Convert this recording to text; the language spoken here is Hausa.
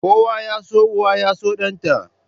Kowa ya so uwa yaso danta.